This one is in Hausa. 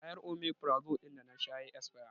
Kwayar 'Omefrazole' ɗin da na sha ya yi isfiya